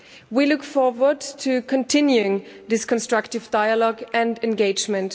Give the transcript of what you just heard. We look forward to continuing this constructive dialogue and engagement.